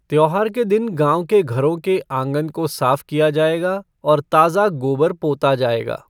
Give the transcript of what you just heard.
त्योहार के दिन गांव के घरों के आंगन को साफ किया जाएगा और ताजा गोबर पोता जाएगा।